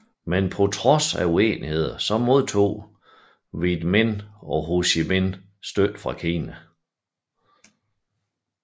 Men på trods af uenigheder modtog Viet Minh og Ho Chi Minh støtte fra Kina